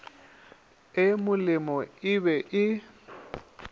e molemo e be e